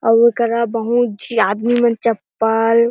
अउ एकरा बहुतझी आदमी मन चप्पल--